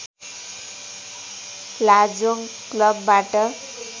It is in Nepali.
लाजोङ क्लबबाट